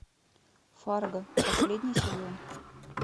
фарго последний сезон